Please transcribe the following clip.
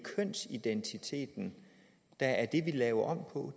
kønsidentiteten der er det vi laver